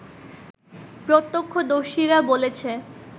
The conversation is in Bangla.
প্রত্যক্ষদর্শীরা বলেছে